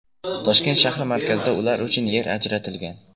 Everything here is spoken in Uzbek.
Toshkent shahri markazida ular uchun yer ajratilgan.